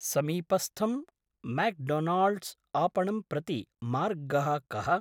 समीपस्थं म्याक्डोनाल्ड्स् आपणं प्रति मार्गः कः?